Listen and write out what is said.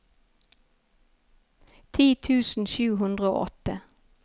ti tusen sju hundre og åtte